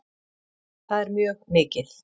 Það er mjög mikið